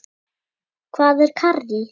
Hvað er karrí?